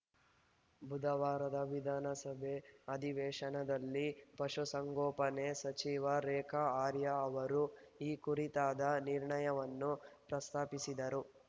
ಬುಧವಾರದ ವಿಧಾನಸಭೆ ಅಧಿವೇಶನದಲ್ಲಿ ಪಶುಸಂಗೋಪನೆ ಸಚಿವೆ ರೇಖಾ ಆರ್ಯ ಅವರು ಈ ಕುರಿತಾದ ನಿರ್ಣಯವನ್ನು ಪ್ರಸ್ತಾಪಿಸಿದರು